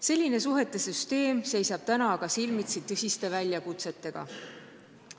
Selline suhete süsteem seisab aga praegu silmitsi tõsiste väljakutsetega.